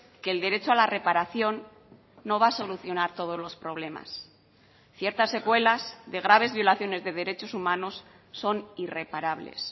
que el derecho a la reparación no va a solucionar todos los problemas ciertas secuelas de graves violaciones de derechos humanos son irreparables